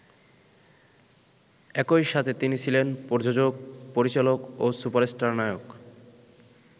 একইসাথে তিনি ছিলেন প্রযোজক, পরিচালক ও সুপারস্টার নায়ক।